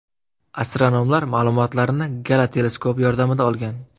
Astronomlar ma’lumotlarni Gala teleskopi yordamida olgan.